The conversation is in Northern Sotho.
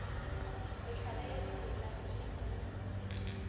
mehlala ya dimela tše di